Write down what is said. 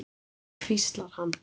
hvíslar hann.